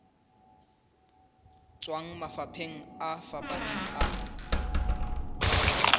tswang mafapheng a fapaneng a